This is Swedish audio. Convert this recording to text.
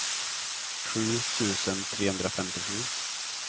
sju tusen trehundrafemtiosju